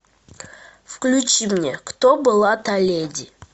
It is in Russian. включи мне кто была та леди